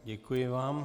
Děkuji vám.